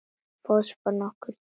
Fótspor nokkurra dýrategunda.